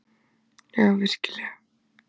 Já, virkilega.